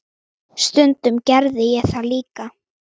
Stundum gerði ég það líka.